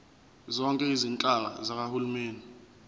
zonke izinhlaka zikahulumeni